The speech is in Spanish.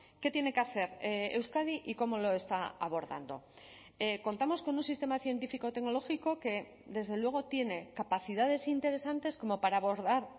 qué tiene que hacer euskadi y cómo lo está abordando contamos con un sistema científico tecnológico que desde luego tiene capacidades interesantes como para abordar